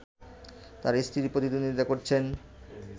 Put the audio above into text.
তার স্ত্রী প্রতিদ্বন্দ্বিতা করছেন